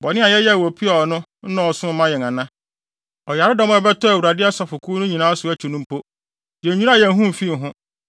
Bɔne a yɛyɛɛ wɔ Peor no nnɔɔso mmaa yɛn ana? Ɔyaredɔm a ɛbɛtɔɔ Awurade asafokuw no nyinaa so akyi no mpo, yennwiraa yɛn ho mfii ho.